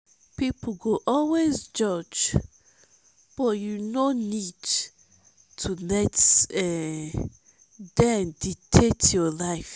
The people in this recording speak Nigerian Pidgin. people go always judge but you no need to let um dem dictate your life.